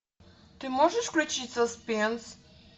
ты можешь включить соспенс